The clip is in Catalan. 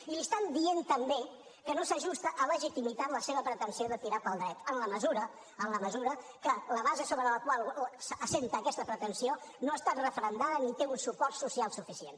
i li estan dient també que no s’ajusta a legitimitat la seva pretensió de tirar pel dret en la mesura en la mesura que la base sobre la qual s’assenta aquesta pretensió no ha estat referendada ni té un suport social suficient